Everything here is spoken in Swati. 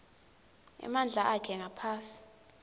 emandla akhe ngaphasi